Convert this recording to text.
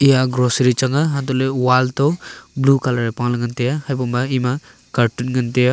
ya a grocery chang a hantoh ley wall toh blue colour e pa ley ngan tai a habo ma ema cartoon ngan tai a.